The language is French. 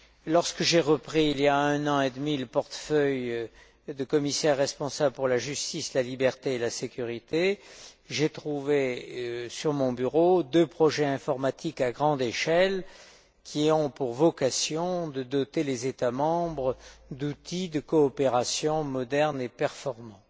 Lorsque j'ai repris, il y a un an et demi, le portefeuille de commissaire responsable pour la justice, la liberté et la sécurité, j'ai trouvé sur mon bureau deux projets informatiques à grande échelle, qui ont pour vocation de doter les États membres d'outils de coopération modernes et performants.